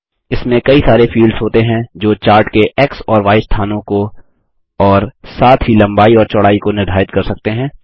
इसमें कई सारे फील्ड्स होते हैं जो चार्ट के एक्स और य स्थानों को और साथ ही लम्बाई और चौड़ाई को निर्धारित कर सकते हैं